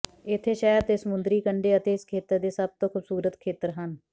ਇੱਥੇ ਸ਼ਹਿਰ ਦੇ ਸਮੁੰਦਰੀ ਕੰਢੇ ਅਤੇ ਇਸ ਖੇਤਰ ਦੇ ਸਭ ਤੋਂ ਖੂਬਸੂਰਤ ਖੇਤਰ ਹਨ